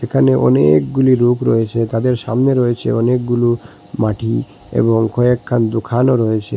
এখানে অনেকগুলি লোক রয়েছে তাদের সামনে রয়েছে অনেকগুলো মাটি এবং কয়েকখান দোখানও রয়েছে।